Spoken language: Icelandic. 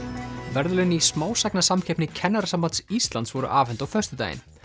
verðlaun í smásagnasamkeppni Kennarasambands Íslands voru afhent á föstudaginn